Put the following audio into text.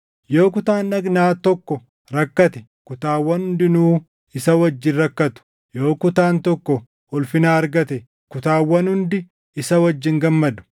Yoo kutaan dhagnaa tokko rakkate kutaawwan hundinuu isa wajjin rakkatu; yoo kutaan tokko ulfina argate kutaawwan hundi isa wajjin gammadu.